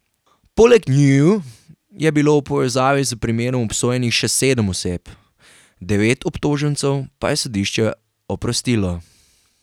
Poleg njiju je bilo v povezavi s primerom obsojenih še sedem oseb, devet obtožencev pa je sodišče oprostilo.